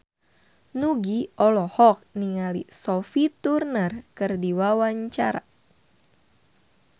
Nugie olohok ningali Sophie Turner keur diwawancara